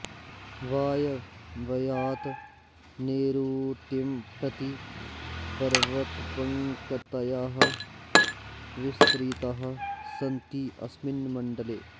वायव्यात् नैरुतिं प्रति पर्वतपङ्कतयः विस्तृताः सन्ति अस्मिन् मण्डले